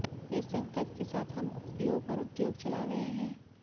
इस संकल्प के साथ हम योग और उद्योग चला रहे हैं